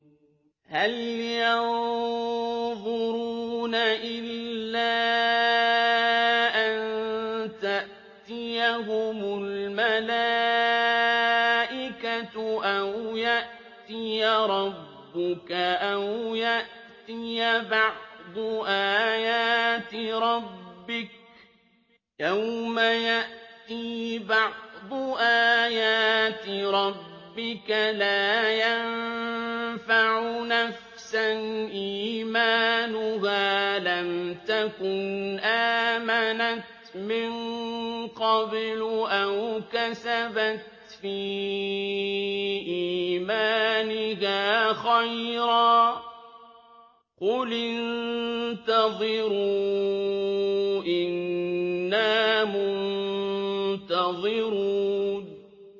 هَلْ يَنظُرُونَ إِلَّا أَن تَأْتِيَهُمُ الْمَلَائِكَةُ أَوْ يَأْتِيَ رَبُّكَ أَوْ يَأْتِيَ بَعْضُ آيَاتِ رَبِّكَ ۗ يَوْمَ يَأْتِي بَعْضُ آيَاتِ رَبِّكَ لَا يَنفَعُ نَفْسًا إِيمَانُهَا لَمْ تَكُنْ آمَنَتْ مِن قَبْلُ أَوْ كَسَبَتْ فِي إِيمَانِهَا خَيْرًا ۗ قُلِ انتَظِرُوا إِنَّا مُنتَظِرُونَ